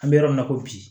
An bɛ yɔrɔ min na ko bi